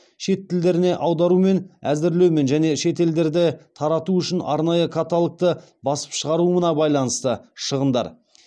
шет тілдеріне аударумен әзірлеумен және шетелдерде тарату үшін арнайы каталогты басып шығаруына байланысты шығындар